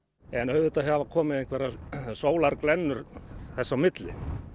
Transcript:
en auðvitað hafa komið einhverjar sólarglennur þar á milli